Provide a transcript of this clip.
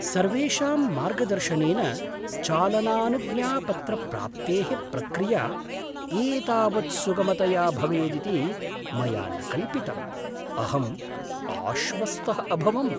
सर्वेषां मार्गदर्शनेन चालनानुज्ञापत्रप्राप्तेः प्रक्रिया एतावत् सुगमतया भवेदिति मया न कल्पितम्, अहं आश्वस्तः अभवम्।